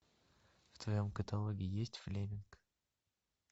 в твоем каталоге есть флеминг